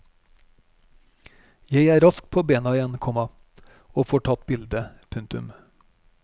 Jeg er raskt på bena igjen, komma og får tatt bildet. punktum